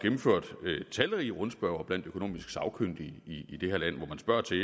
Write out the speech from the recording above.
gennemført talrige rundspørger blandt økonomisk sagkyndige i det her land hvor man spørger til